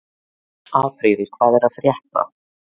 Apríl, hvað er að frétta?